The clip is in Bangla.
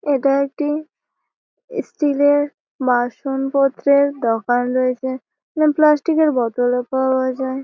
এটা একটি স্টিল -এর বাসনপত্র দোকান রয়েছে। এখানে প্লাস্টিক -এর বোতল পাওয়া যাই।